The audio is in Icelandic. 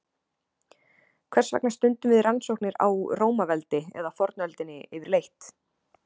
Hvers vegna stundum við rannsóknir á Rómaveldi eða fornöldinni yfirleitt?